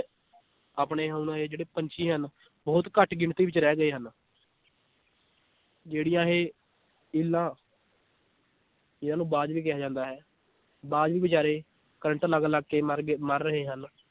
ਆਪਣੇ ਹੁਣ ਇਹ ਜਿਹੜੇ ਪੰਛੀ ਹਨ ਬਹੁਤ ਘੱਟ ਗਿਣਤੀ ਵਿਚ ਰਹਿ ਗਏ ਹਨ ਜਿਹੜੀਆਂ ਇਹ ਇੱਲਾਂ ਜਿਹਨਾਂ ਨੂੰ ਬਾਜ ਵੀ ਕਿਹਾ ਜਾਂਦਾ ਹੈ ਬਾਜ ਵੀ ਬਿਚਾਰੇ ਕਰੰਟ ਲਗ ਲਗ ਕੇ ਮਰ ਗਏ ਮਰ ਰਹੇ ਹਨ l